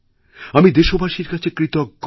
আমি দেশবাসীর কাছে কৃতজ্ঞ